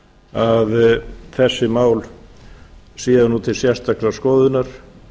að þessi mál séu nú til sérstakrar skoðunar